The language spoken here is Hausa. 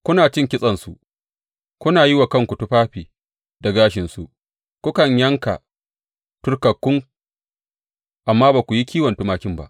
Kuna cin kitsensu, kuna yi wa kanku tufafi da gashinsu, kukan yanka turkakkun, amma ba ku yi kiwon tumakin ba.